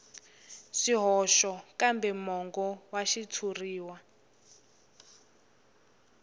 swihoxo kambe mongo wa xitshuriwa